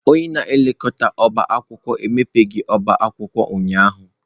Onye na-elekọta ọbá akwụkwọ emebeghị ọba akwụkwọ ụnyahụ.